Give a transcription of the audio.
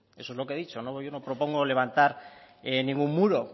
eso es lo que he dicho yo no propongo levantar ningún muro